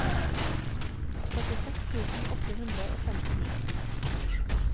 førtiseks tusen åtte hundre og femtini